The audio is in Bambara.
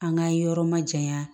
An ka yɔrɔ ma jayan